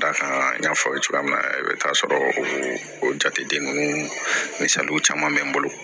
Dakan n y'a fɔ aw ye cogoya min na i bɛ taa sɔrɔ o jate ninnu ni caman bɛ n bolo